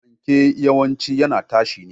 Fanke yawanci yana tashi ne.